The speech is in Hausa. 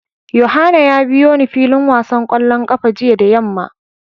Yohana ya biyo ni filin wasan kwallon kafa jiya da yamma.